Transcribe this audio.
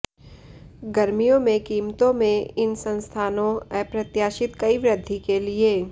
गर्मियों में कीमतों में इन संस्थानों अप्रत्याशित कई वृद्धि के लिए